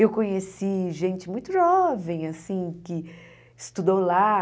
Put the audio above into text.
Eu conheci gente muito jovem, assim, que estudou lá.